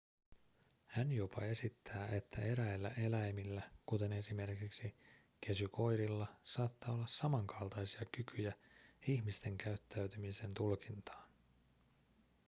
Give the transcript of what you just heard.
hän jopa esittää että eräillä eläimillä kuten esimerkiksi kesykoirilla saattaa olla samankaltaisia kykyjä ihmisten käyttäytymisen tulkintaan